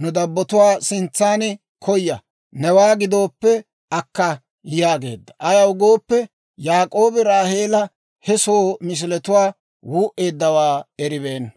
nu dabbatuwaa sintsan koya; newaa gidooppe akka» yaageedda; ayaw gooppe, Yaak'oobi Raaheela he soo misiletuwaa wuu'eeddawaa eribeenna.